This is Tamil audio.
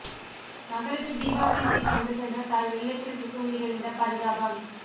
மகளுக்கு தீபாவளி சீர் கொண்டு சென்ற தாய் வெள்ளத்தில் சிக்கி உயிரிழந்த பரிதாபம்